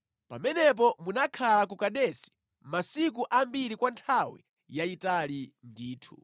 Pamenepo munakhala ku Kadesi masiku ambiri kwa nthawi yayitali ndithu.